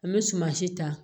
An bɛ suman si ta